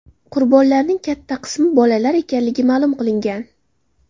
Qurbonlarning katta qismi bolalar ekanligi ma’lum qilingan.